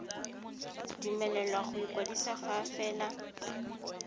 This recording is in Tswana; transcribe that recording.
dumelelwa go ikwadisa fa fela